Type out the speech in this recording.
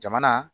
Jamana